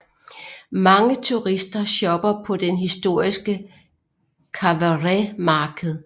Mange turister shopper på den historiske Covered Market